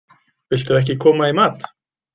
Viltu ekki koma í mat?